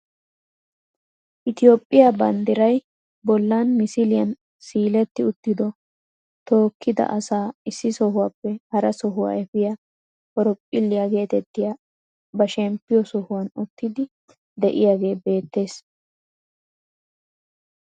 Itoophphiyaa banddiray bollan misliyaan siiletti uttido tookkidi asaa issi sohuwaappe hara sohuwaa efiyaa horophphilliyaa getettiyaa ba shemppiyoo sohuwaan uttiidi de'iyaage beettees.